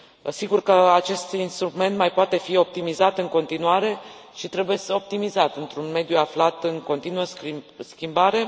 Sigur că acest instrument mai poate fi optimizat în continuare și trebuie optimizat într un mediu aflat în continuă schimbare.